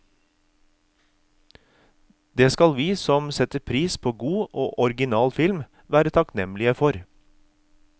Det skal vi som setter pris på god og original film, være takknemlige for.